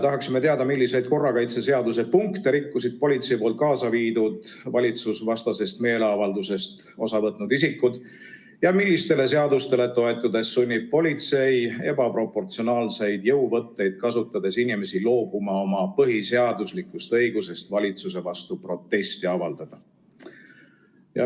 Tahaksime teada, milliseid korrakaitseseaduse punkte rikkusid politsei poolt kaasa viidud valitsusvastasest meeleavaldusest osa võtnud isikud ja millistele seadustele toetudes sunnib politsei ebaproportsionaalseid jõuvõtteid kasutades inimesi loobuma oma põhiseaduslikust õigusest valitsuse vastu protesti avaldada.